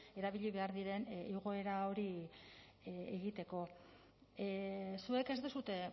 erabili behar diren igoera hori egiteko zuek ez duzue